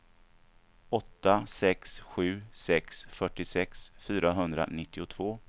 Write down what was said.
åtta sex sju sex fyrtiosex fyrahundranittiotvå